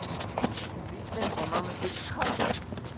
Bíllinn fór nánast í kaf.